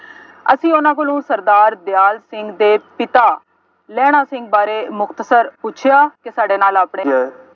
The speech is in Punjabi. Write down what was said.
ਅਸੀਂ ਉਹਨਾ ਕੋਲੋਂ ਸਰਦਾਰ ਦਿਆਲ ਸਿੰਘ ਦੇ ਪਿਤਾ, ਲਹਿਣਾ ਸਿੰਘ ਬਾਰੇ ਮੁਕਤਸਰ ਪੁੱਛਿਆ ਕਿ ਸਾਡੇ ਨਾਲ ਆਪਣੇ